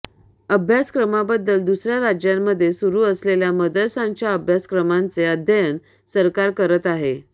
अभ्यासक्रमाबद्दल दुसऱया राज्यांमध्ये सुरू असलेल्या मदरशांच्या अभ्यासक्रमाचे अध्ययन सरकार करत आहे